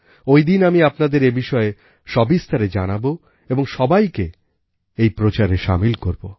ঐদিন আমি আপনাদের এই বিষয়ে সবিস্তারে জানাবো এবং সবাইকে এই প্রচারে সামিল করব